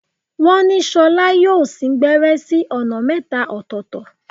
Wọ́n ni Ṣolá yóò sín gbẹ́rẹ́ sí ọ̀nà mẹ́ta ọ̀tọ̀ọ̀tọ̀.